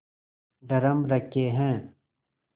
drum रखे हैं